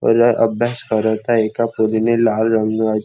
मूल अभ्यास करत आहे एका पोरीने लाल रंगा--